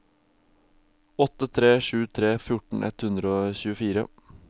åtte tre sju tre fjorten ett hundre og tjuefire